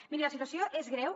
mirin la situació és greu